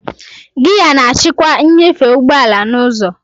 Giya na-achịkwa nnyefe ụgbọ ala na ọsọ.